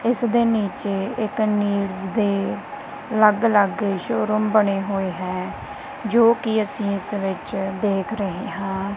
ਇਸ ਦੇ ਨੀਚੇ ਇਕ ਨੀਡਸ ਦੇ ਅਲੱਗ ਅਲੱਗ ਸ਼ੋਰੂਮ ਬਣੇ ਹੋਏ ਹੈ ਜੋ ਕਿ ਅਸੀਂ ਇਸ ਵਿੱਚ ਦੇਖ ਰਹੇ ਹਾਂ।